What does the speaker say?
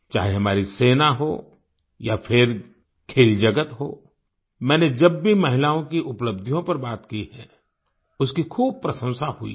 चाहे हमारी सेना हो या फिर खेल जगत हो मैंने जब भी महिलाओं की उपलब्धियों पर बात की है उसकी खूब प्रशंसा हुई है